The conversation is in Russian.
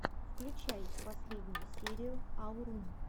включай лучшую серию аурум